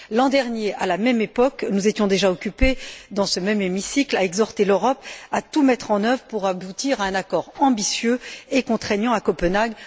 L'an dernier, à la même époque, nous étions déjà occupés, dans ce même hémicycle, à exhorter l'Europe à tout mettre en œuvre pour aboutir à un accord ambitieux et contraignant à Copenhague.